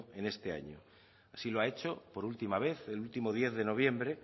en este año así lo ha hecho por última vez el último diez de noviembre